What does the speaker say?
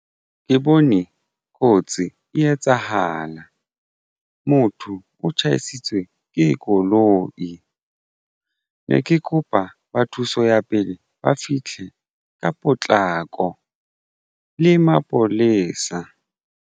Ke bone kotsi e etsahala motho o tjhaisitswe ke koloi ne ke kopa ba thuso ya pele ba fihle ka potlako le mapolesa.